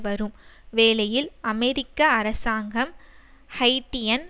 வரும் வேலையில் அமெரிக்க அரசாங்கம் ஹைட்டியன்